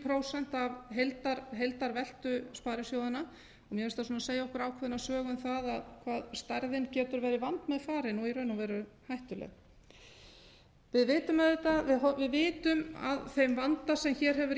prósent af heildarveltu sparisjóðanna mér finnst það svona segja okkur ákveðna sögu um það hvað stærðin getur verið vandmeðfarin og í raun og veru hættuleg við vitum af þeim vanda sem hér hefur